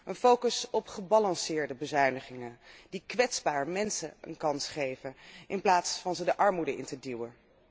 Een focus op gebalanceerde bezuinigingen, die kwetsbare mensen een kans geven in plaats van hen de armoede in te duwen.